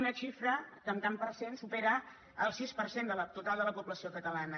una xifra que en tant per cent supera el sis per cent del total de la població catalana